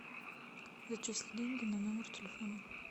зачисли деньги на номер телефона